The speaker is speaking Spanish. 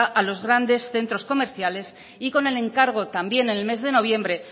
a los grandes centros comerciales y con el encargo también en el mes de noviembre